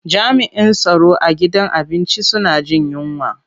Jami'in tsaron a gidan abinci suna jin yunwa.